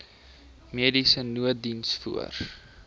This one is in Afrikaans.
mediese nooddiens voor